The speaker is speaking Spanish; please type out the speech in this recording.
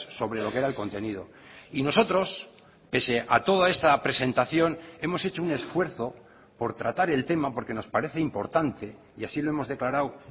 sobre lo que era el contenido y nosotros pese a toda esta presentación hemos hecho un esfuerzo por tratar el tema porque nos parece importante y así lo hemos declarado